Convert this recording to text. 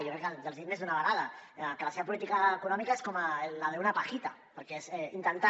jo crec que els ho he dit més d’una vegada que la seva política econòmica és com la d’una pajita perquè és intentar